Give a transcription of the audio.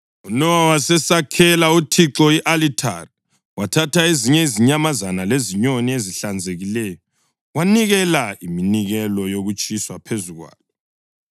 UNowa wasesakhela uThixo i-alithari, wathatha ezinye izinyamazana lezinyoni ezihlanzekileyo wanikela iminikelo yokutshiswa phezu kwalo.